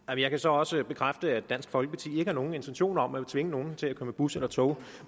jeg kan så også bekræfte at dansk folkeparti ikke har nogen intentioner om at tvinge nogen til at køre med bus eller tog